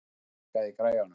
Ásdís, hækkaðu í græjunum.